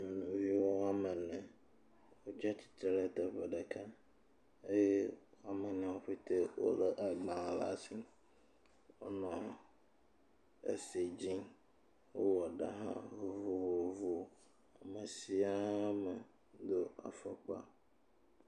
Nɔviwo woame ene. Wotsi atsi tre ɖe teƒe ɖeka eye amewo ƒete wo le agbalẽ le asi. Wonɔ esi dzim, wowɔ ɖa hã vovovo. Ame sis ame do afɔkpa.